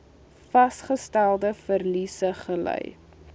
vasgestelde verliese gely